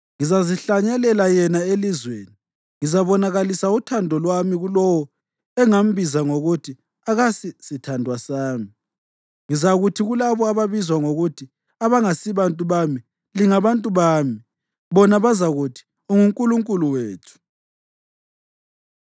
Ngizazihlanyelela yena elizweni; ngizabonakalisa uthando lwami kulowo engambiza ngokuthi, ‘Akasi sithandwa sami.’ Ngizakuthi kulabo ababizwa ngokuthi, ‘Abangasibantu bami,’ ‘Lingabantu bami’; bona bazakuthi, ‘UnguNkulunkulu wethu.’ ”